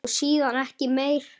Og síðan ekki meir?